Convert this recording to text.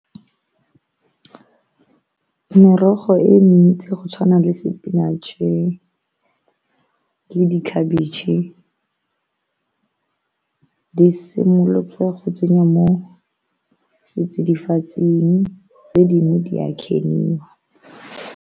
Merogo e ntsi go tshwana le spinach le dikhabetšhe do simolotswe go tsenyiwa mo setsidifatsing tse dingwe di a .